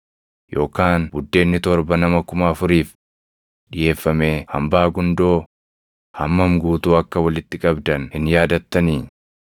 Yookaan buddeenni torba nama kuma afuriif dhiʼeeffamee hambaa gundoo hammam guutuu akka walitti qabdan hin yaadattanii?